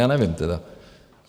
Já nevím tedy.